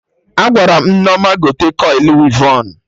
Agwaram Nneoma gote kọili wivon